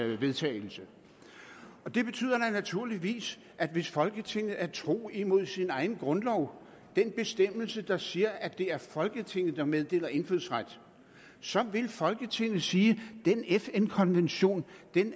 vedtagelse det betyder naturligvis at hvis folketinget er tro imod sin egen grundlov den bestemmelse der siger at det er folketinget der meddeler indfødsret så vil folketinget sige at den fn konvention er en